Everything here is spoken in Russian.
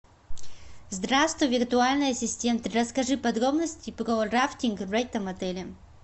здравствуй виртуальный ассистент расскажи подробности про рафтинг в этом отеле